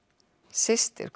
systir